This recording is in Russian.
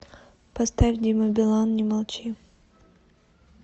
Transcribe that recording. поставь дима билан не молчи